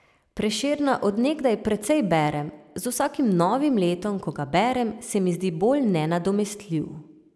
Prešerna od nekdaj precej berem, z vsakim novim letom, ko ga berem, se mi zdi bolj nenadomestljiv.